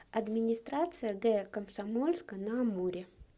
администрация г комсомольска на амуре